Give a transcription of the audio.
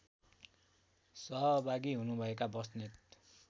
सहभागी हुनुभएका बस्नेत